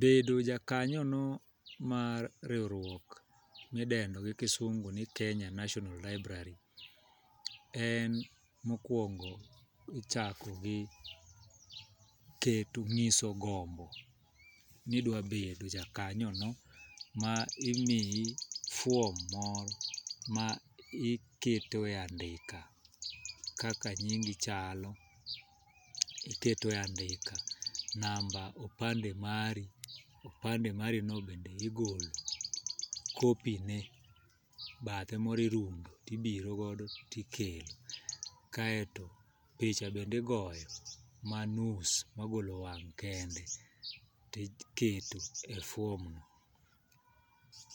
Bedo jakanyono mar riwruok midendo gi kisungu ni Kenya national library en mokwongo, ichako gi keto ng'iso gombo ni idwabedo jakanyono ma imiyi fuom moro ma iketo e andika kaka nyingi chalo, iketo e andika namba opande mari, opande marino be igolo kopine, bathe moro irundo tibirogodo tikelo kaeto picha bende igoyo manus magolo wang' kende tiketo e fuom no.